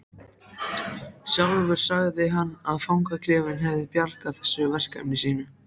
Sjálfur sagði hann að fangaklefinn hefði bjargað þessu verkefni sínu.